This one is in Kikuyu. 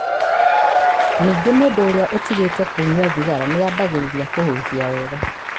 Ningĩ mũndũ ũrĩa ũtigĩte kũnyua thigara nĩ ambĩrĩria kũhuhia wega.